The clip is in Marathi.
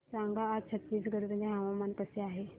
सांगा आज छत्तीसगड मध्ये हवामान कसे आहे